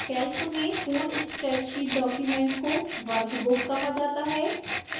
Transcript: calc में पूर्ण spreadsheet document को workbook कहा जाता है